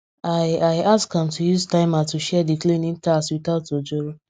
i i ask am to use timer to share the cleaning tasks without ojoro